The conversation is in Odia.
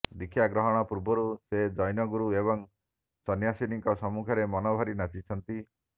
ଦୀକ୍ଷା ଗ୍ରହଣ ପୂର୍ବରୁ ସେ ଜୈନଗୁରୁ ଏବଂ ସୈନ୍ୟାସିନୀଙ୍କ ସମ୍ମୁଖରେ ମନଭରି ନାଚିଛନ୍ତି